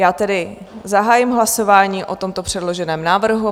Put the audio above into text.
Já tedy zahájím hlasování o tomto předloženém návrhu.